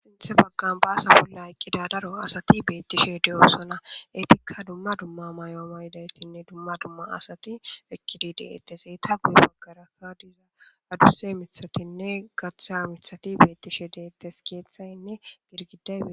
Sinthe baggan baasa bolla eqqida daro asati beettishe de7oosana etikka dumma dumma may7o maydaytinne dumma dumma asati ekkidi deettes eyta guye baggarakka diza adusse mithatinne gachcha mithati beettishe deettes keeththaynne girgida.